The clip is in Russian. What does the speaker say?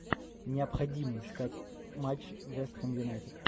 необходимо искать матч вест хэм юнайтед